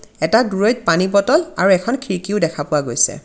এটা দূৰৈত পানী বটল আৰু এখন খিৰিকী ও দেখা পোৱা গৈছে.